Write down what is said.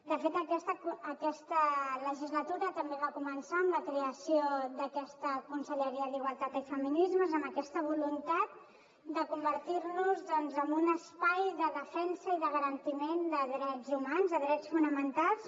de fet aquesta legislatura també va començar amb la creació d’aquesta conselleria d’igualtat i feminismes amb aquesta voluntat de convertir nos en un espai de defensa i de garantiment de drets humans de drets fonamentals